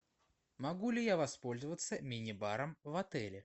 могу ли я воспользоваться мини баром в отеле